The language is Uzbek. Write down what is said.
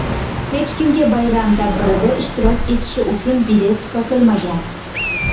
Hech kimga bayram tadbirida ishtirok etishi uchun bilet sotilmagan.